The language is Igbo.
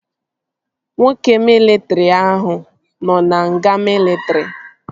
Nwoke mịlịtrị ahụ nọ na nga mịlịtrị